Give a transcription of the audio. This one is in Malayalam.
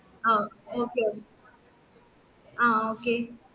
ആ okay okay ആ okay